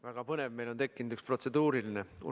Väga põnev, meil on tekkinud üks protseduuriline küsimus.